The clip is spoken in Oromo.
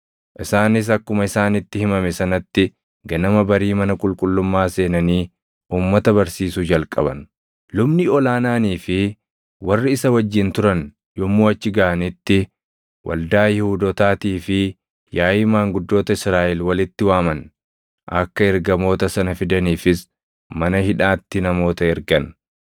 Isaanis akkuma isaanitti himame sanatti ganama barii mana qulqullummaa seenanii uummata barsiisuu jalqaban. Lubni ol aanaanii fi warri isa wajjin turan yommuu achi gaʼanitti waldaa Yihuudootaatii fi yaaʼii maanguddoota Israaʼel walitti waaman; akka ergamoota sana fidaniifis mana hidhaatti namoota ergan.